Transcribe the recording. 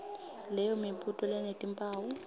leyo mibuto lenetimphawu